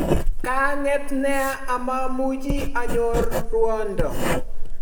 Ka nget nea amamuchi anyor ruondo